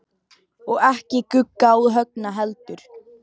Og ekki Gugga og Högna heldur.